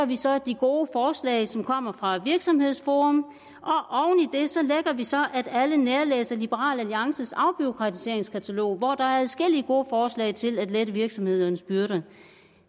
vi så de gode forslag som kommer fra virksomhedsforum og vi så at alle nærlæser liberal alliances afbureaukratiseringskatalog hvor der er adskillige gode forslag til at lette virksomhedernes byrder